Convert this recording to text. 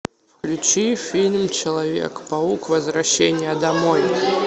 включи фильм человек паук возвращение домой